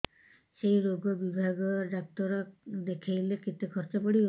ସେଇ ରୋଗ ବିଭାଗ ଡ଼ାକ୍ତର ଦେଖେଇଲେ କେତେ ଖର୍ଚ୍ଚ ପଡିବ